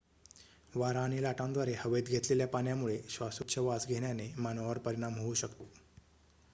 वारा आणि लाटांद्वारे हवेत घेतलेल्या पाण्यामुळे श्वासोच्छवास घेण्याने मानवावर परिणाम होऊ शकतो